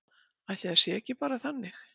Ætli það sé ekki bara þannig.